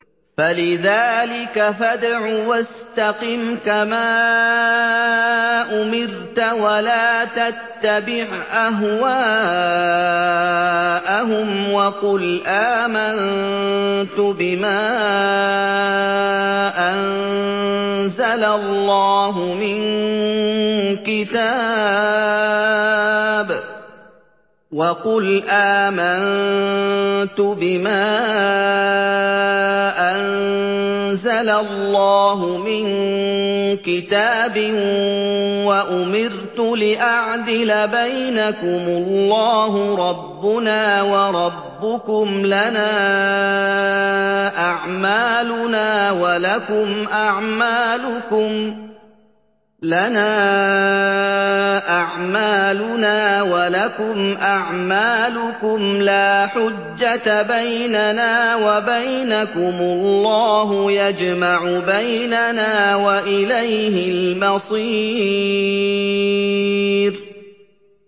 فَلِذَٰلِكَ فَادْعُ ۖ وَاسْتَقِمْ كَمَا أُمِرْتَ ۖ وَلَا تَتَّبِعْ أَهْوَاءَهُمْ ۖ وَقُلْ آمَنتُ بِمَا أَنزَلَ اللَّهُ مِن كِتَابٍ ۖ وَأُمِرْتُ لِأَعْدِلَ بَيْنَكُمُ ۖ اللَّهُ رَبُّنَا وَرَبُّكُمْ ۖ لَنَا أَعْمَالُنَا وَلَكُمْ أَعْمَالُكُمْ ۖ لَا حُجَّةَ بَيْنَنَا وَبَيْنَكُمُ ۖ اللَّهُ يَجْمَعُ بَيْنَنَا ۖ وَإِلَيْهِ الْمَصِيرُ